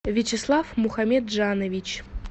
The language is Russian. вячеслав мухамеджанович